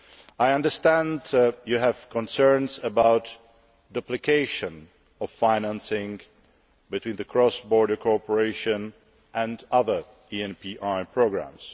I understand you have concerns about duplication of financing between cross border cooperation and other ENPI programmes.